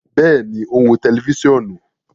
Bẹẹni, o n wo tẹlifisiọnu